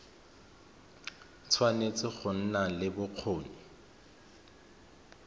tshwanetse go nna le bokgoni